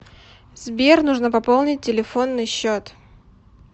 сбер нужно пополнить телефонный счет